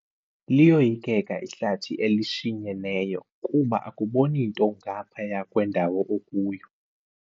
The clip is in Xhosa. Liyoyikeka ihlathi elishinyeneyo kuba akuboni nto ngaphaya kwendawo okuyo.